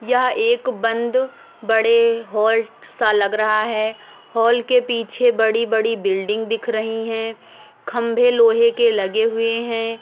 यह एक बंद बड़े हॉल सा लग रहा है हॉल के पीछे बड़ी बड़ी बिल्डिंग दिख रही है। खम्बे लोहे के लगे हुए है।